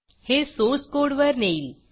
हे सोर्स कोडवर नेईल